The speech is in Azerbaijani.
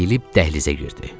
Əyilib dəhlizə girdi.